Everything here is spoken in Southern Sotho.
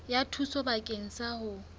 ya thuso bakeng sa ho